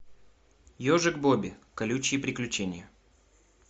ежик бобби колючие приключения